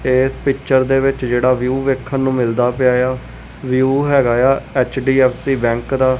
ਇੱਸ ਪਿਕਚਰ ਦੇ ਵਿੱਚ ਜਿਹੜਾ ਵਿਊ ਦੇਖਣ ਨੂੰ ਮਿਲਦਾ ਪਿਆ ਆ ਵਿਊ ਹੈਗਾ ਆ ਐੱਚ_ਡੀ_ਐੱਫ_ਸੀ ਬੈਂਕ ਦਾ।